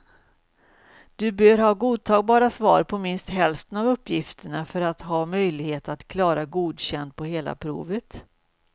Du bör ha godtagbara svar på minst hälften av uppgifterna för att ha möjlighet att klara godkänd på hela provet.